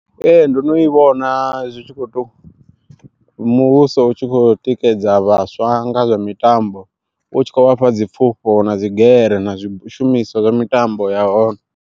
Ee ndo no i vhona zwi tshi kho to muvhuso u tshi khou tikedza vhaswa nga zwa mitambo u tshi kho vhafha dzi pfufho na dzigere na zwishumiswa zwa mitambo yahone.